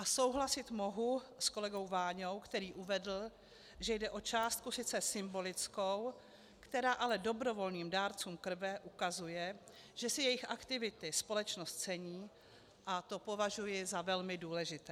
A souhlasit mohu s kolegou Váňou, který uvedl, že jde o částku sice symbolickou, která ale dobrovolným dárcům krve ukazuje, že si jejich aktivity společnost cení, a to považuji za velmi důležité.